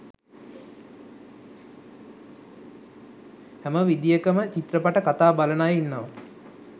හැම විදියකම චිත්‍රපට කතා බලන අය ඉන්නව